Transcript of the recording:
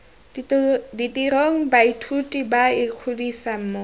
ditirong baithuti ba ikgodisa mo